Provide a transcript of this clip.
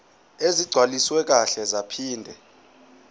ezigcwaliswe kahle zaphinde